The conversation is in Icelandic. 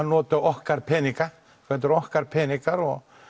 noti okkar peninga þetta eru okkar peningar og